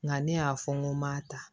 Nka ne y'a fɔ n ko m'a ta